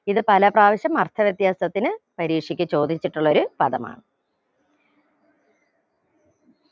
ഇത് പല പ്രാവശ്യം അർത്ഥ വ്യത്യാസത്തിന് പരീക്ഷക്ക് ചോദിച്ചിട്ടുള്ളൊരു പദമാണ്